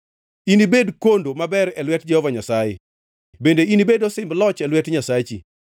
Inibed kondo maber e lwet Jehova Nyasaye bende inibed osimb loch e lwet Nyasachi.